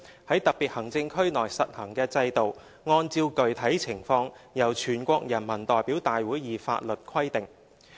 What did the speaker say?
在特別行政區內實行的制度按照具體情況由全國人民代表大會以法律規定"。